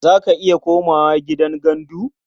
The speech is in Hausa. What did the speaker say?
Za ka iya komawa gidan gandu?